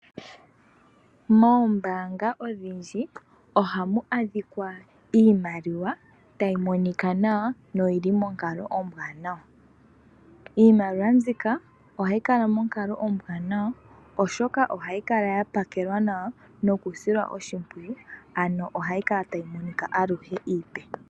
Moombaanga odhindji ohamu adhika iimaliwa tayi monika nawa noyi li monkalo ombwaanawa. Iimaliwa mbika ohayi kala monkalo ombwaanawa, oshoka ohayi kala ya pakelwa nawa nokusilwa oshimpwiyu, ano ohayi kala tayi monika aluhe iipe.